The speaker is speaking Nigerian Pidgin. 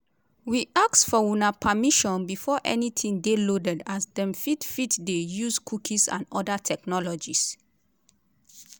we ask for una permission before anytin dey loaded as dem fit fit dey use cookies and oda technologies.